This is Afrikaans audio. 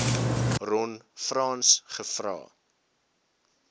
ron frans gevra